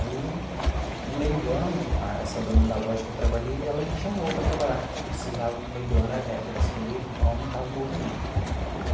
Aí, no meio do ano, a essa dona da loja que eu trabalhei, ela me chamou para trabalhar, porque precisava, no meio do ano, é a época das colheitas, então aumentava o movimento.